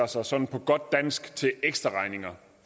sig sådan på godt dansk til ekstraregninger